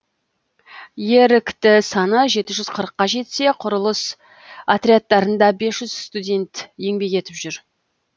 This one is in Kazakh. ерікті саны жеті жүз қырыққа жетсе құрылыс отрядтарында бес жүз студент еңбек етіп жүр